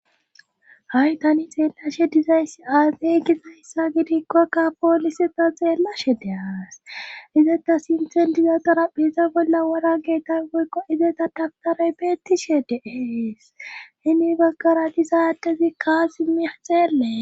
Hay tani xeellashe dizayssi aazey gizayssa gidikkokka poolise ta xeellashe deas izata sinthen dizatora peeza bolla wora geetan woykqo izeta daftaray beettishe deees himi baggara disaadezi kaas mih xeellee